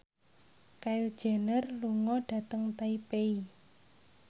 Kylie Jenner lunga dhateng Taipei